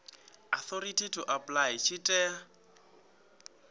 authority to apply tshi tea